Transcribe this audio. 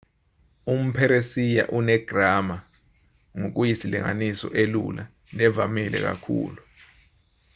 umpheresiya unegrama ngokuyisilinganiso elula nevamile kakhulu